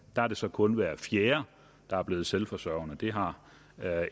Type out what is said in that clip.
er det så kun hver fjerde der er blevet selvforsørgende det har